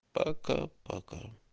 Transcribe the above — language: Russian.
пока пока